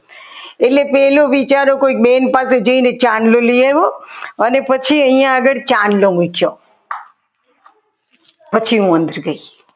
એટલે પહેલો વિચારો કોઈક બેન પાસે જઈને ચાંદલો લઈ આવ્યો અને પછી અહીંયા આગળ ચાંદલો મુક્યો પછી હું અંદર ગઈ.